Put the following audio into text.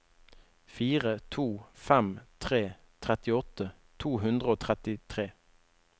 fire to fem tre trettiåtte to hundre og trettitre